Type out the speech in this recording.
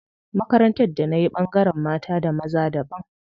Makarantar da nayi ɓangaren mata da maza daban.